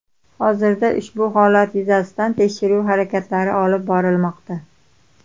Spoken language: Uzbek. Hozirda ushbu holat yuzasidan tekshiruv harakatlari olib borilmoqda.